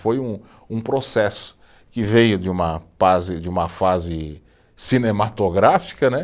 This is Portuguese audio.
Foi um um processo que veio de uma de uma fase cinematográfica, né?